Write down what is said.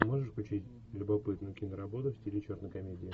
можешь включить любопытную киноработу в стиле черной комедии